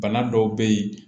Bana dɔw bɛ yen